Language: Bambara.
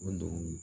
O don